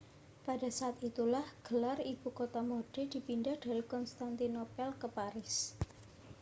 pada saat itulah gelar ibu kota mode dipindah dari konstantinopel ke paris